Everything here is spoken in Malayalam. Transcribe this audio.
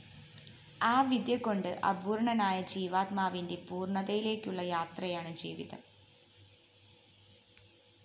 ആ വിദ്യകൊണ്ട് അപൂര്‍ണ്ണനായ ജീവാത്മാവിന്റെ പൂര്‍ണ്ണതയിലേക്കുള്ള യാത്രയാണ് ജീവിതം